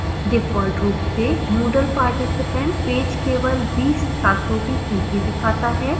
default रूप से moodle participants page केवल 20 छात्रों की सूची दिखाता है